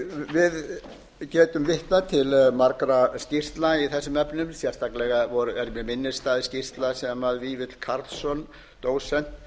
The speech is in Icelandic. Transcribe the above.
við getum vitnað til margra skýrslna í þessum efnum sérstaklega er mér minnisstæð skýrsla sem vífill karlsson dósent